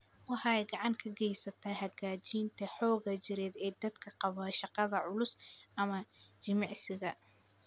Waxay gacan ka geysataa hagaajinta xoogga jireed ee dadka qaba shaqada culus ama jimicsiga.